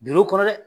Birin kɔnɔ dɛ